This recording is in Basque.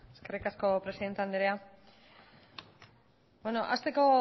eskerrik asko presidente andrea hasteko